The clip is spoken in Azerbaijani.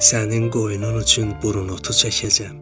Sənin qoyunun üçün burunotu çəkəcəm.